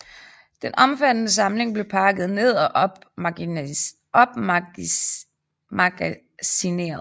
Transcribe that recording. Den omfattende samling blev pakket ned og opmagasineret